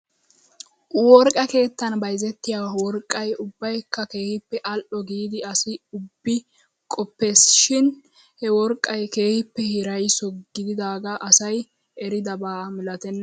Worqqa keettan bayzettiyaa worqqay ubbaykka keehippe al'o giidi asi ubbi qoppes shin he worqqay keehippe hiraysso gididaagaa asay eridaba milatenna.